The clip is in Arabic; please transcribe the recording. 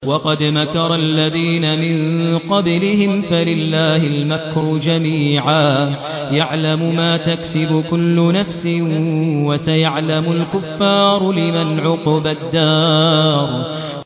وَقَدْ مَكَرَ الَّذِينَ مِن قَبْلِهِمْ فَلِلَّهِ الْمَكْرُ جَمِيعًا ۖ يَعْلَمُ مَا تَكْسِبُ كُلُّ نَفْسٍ ۗ وَسَيَعْلَمُ الْكُفَّارُ لِمَنْ عُقْبَى الدَّارِ